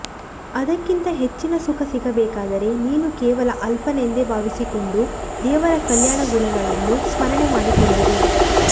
ಅದಕ್ಕಿಂತ ಹೆಚ್ಚಿನ ಸುಖ ಸಿಗಬೇಕಾದರೆ ನೀನು ಕೇವಲ ಅಲ್ಪನೆಂದು ಭಾವಿಸಿಕೊಂಡು ದೇವರ ಕಲ್ಯಾಣಗುಣಗಳನ್ನು ಸ್ಮರಣೆ ಮಾಡಿಕೊಂಡಿರು